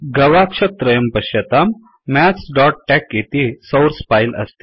गवाक्षत्रयं पश्यताम् mathsटेक इति सौर्स् फैल् अस्ति